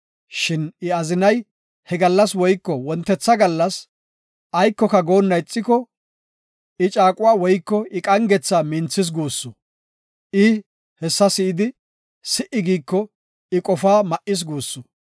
Shin I azinay he gallas woyko wontetha gallas aykoka goonna ixiko, I caaquwa woyko I qangetha minthis guussu. I hessa si7idi, si77i giiko I qofaa ma7is guussu.